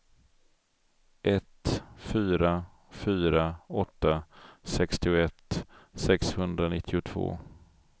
ett fyra fyra åtta sextioett sexhundranittiotvå